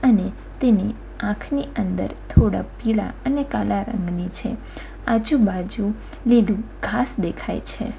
અને તેની આંખની અંદર થોડા પીળા અને કાળા રંગની છે આજુબાજુ લીધું ઘાસ દેખાય છે.